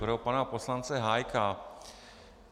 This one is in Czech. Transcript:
Pro pana poslance Hájka.